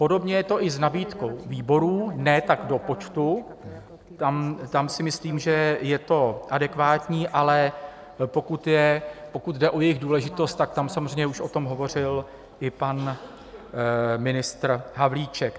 Podobně je to i s nabídkou výborů - ne tak do počtu, tam si myslím, že je to adekvátní, ale pokud jde o jejich důležitost, tak tam samozřejmě už o tom hovořil i pan ministr Havlíček.